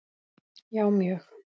Já, mjög